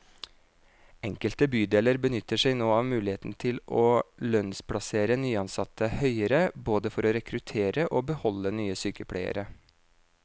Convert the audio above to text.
Enkelte bydeler benytter seg nå av muligheten til å lønnsplassere nyansatte høyere, både for å rekruttere og beholde nye sykepleiere.